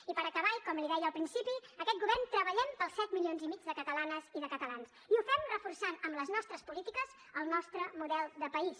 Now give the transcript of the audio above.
i per acabar i com li deia al principi aquest govern treballem per als set milions i mig de catalanes i de catalans i ho fem reforçant amb les nostres polítiques el nostre model de país